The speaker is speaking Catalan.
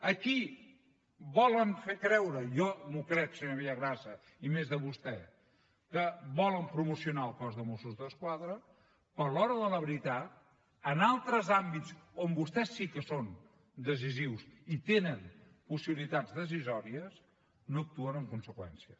aquí volen fer creure i jo m’ho crec senyor villagrasa i més de vostè que volen promocionar el cos de mossos d’esquadra però a l’hora de la veritat en altres àmbits on vostès sí que són decisius i tenen possibilitats decisòries no actuen en conseqüència